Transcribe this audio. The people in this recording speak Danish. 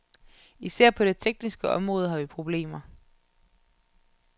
Især på det tekniske område har vi problemer.